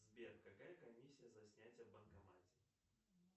сбер какая комиссия за снятие в банкомате